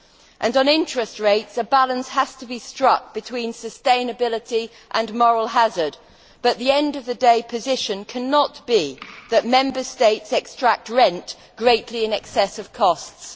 And on interest rates, a balance has to be struck between sustainability and moral hazard, but the end of the day position cannot be that Member States extract rent greatly in excess of costs.